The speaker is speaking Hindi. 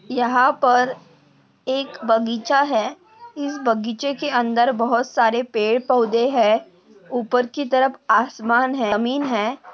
यहाँ पर एक त बगीचा है। इस बगीचेके अंदर बहोत सारे पेड़ पौधे है। उपर की तरफ आसमान है जमीन है।